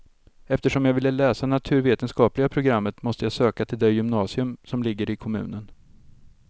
Eftersom jag ville läsa naturvetenskapliga programmet måste jag söka till det gymnasium som ligger i kommunen.